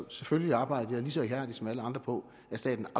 og selvfølgelig arbejdede jeg lige så ihærdigt som andre på at staten